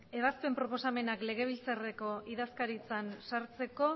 ebazpen proposamenak legebiltzarreko idazkaritzan sartzeko